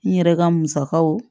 N yɛrɛ ka musakaw